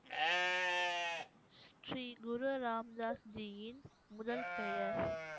ஸ்ரீ குரு ராம்தாஸ்ஜியின் முதல் பெயர்